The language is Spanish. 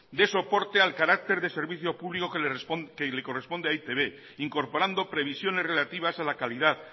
dé soporte al carácter de servicio público que le corresponde a e i te be incorporando previsiones relativas a la calidad